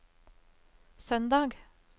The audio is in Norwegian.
søndag